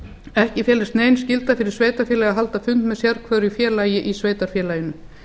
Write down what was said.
ekki telst nein skylda fyrir sveitarfélag að halda fund með sérhverju félagi í sveitarfélaginu